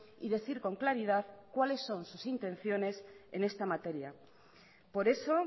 y decir con claridad cuáles son sus intenciones en esta materia por eso